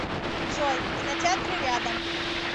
джой кинотеатры рядом